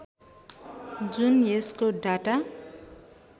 जुन यसको डाटा